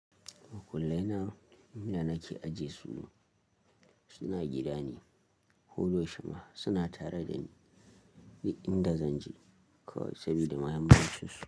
Makullai na inda nake aje su suna gida ne. Hudu shima suna tare da ni duk inda zan je saboda mahammincinsu.